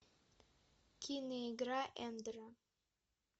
кино игра эндера